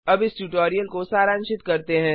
अब इस ट्यूटोरियल को सारांशित करते हैं